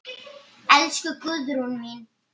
Elsku Guðrún mín.